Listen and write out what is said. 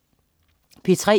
P3: